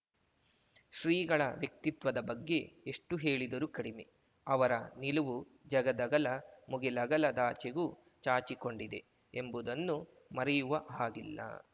ಶ್ರೀಗಳ ವ್ಯಕ್ತಿತ್ವದ ಬಗ್ಗೆ ಎಷ್ಟುಹೇಳಿದರೂ ಕಡಿಮೆ ಅವರ ನಿಲುವು ಜಗದಗಲ ಮುಗಿಲಗಲದಾಚೆಗೂ ಚಾಚಿಕೊಂಡಿದೆ ಎಂಬುದನ್ನು ಮರೆಯುವ ಹಾಗಿಲ್ಲ